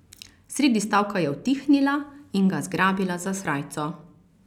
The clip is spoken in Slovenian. Sredi stavka je utihnila in ga zgrabila za srajco.